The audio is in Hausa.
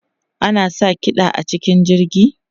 Ana sa kiɗa a cikin jirgi?